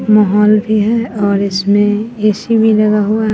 माहौल भी है और इसमें ए_सी भी लगा हुआ--